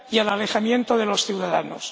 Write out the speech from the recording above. y al alejamiento de los ciudadanos.